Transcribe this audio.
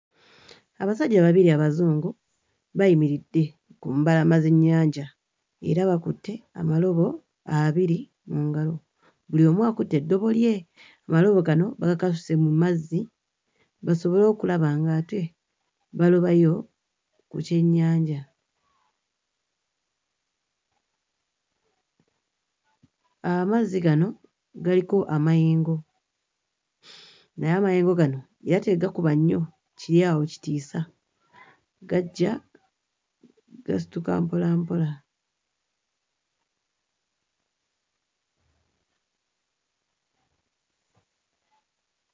Abasajja babiri Abazungu bayimiridde ku mbalama z'ennyanja era bakutte amalobo abiri mu ngalo, buli omu akutte eddobo lye, amalobo gano bagakasusse mu mazzi basobole okulaba ng'ate balobayo ku kyennyanja. Amazzi gano galiko amayengo naye amayengo gano era tegakuba nnyo kiri awo kitiisa, gajja gasituka mpola mpola.